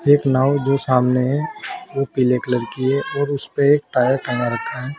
एक नाव जो सामने है वो पीले कलर की है और उस पे एक टायर टंगा रखा है।